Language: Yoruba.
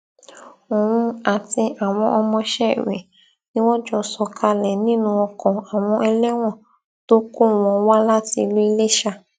òun àti àwọn ọmọọṣẹ rẹ ni wọn jọọ sọkalẹ nínú oko àwọn ẹlẹwọn tó kó wọn wá láti ìlú iléṣà